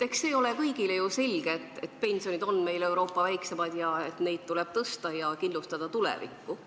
Eks see ole ju kõigile selge, et pensionid on meil Euroopa väikseimad, neid tuleb tõsta ja kindlustada tulevikku.